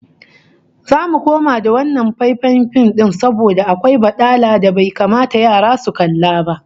Zamu koma da wannan faifan fim din saboda akwai badala da bai kamata yara su kalla ba